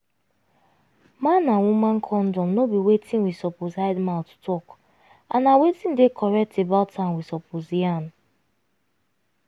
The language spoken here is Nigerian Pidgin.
man and woman condom no be wetin we suppose hide mouth talk and na wetin dey correct about am we suppose yarn